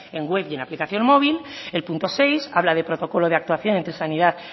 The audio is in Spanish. en web y en aplicación móvil el punto seis habla de protocolo de actuación entre sanidad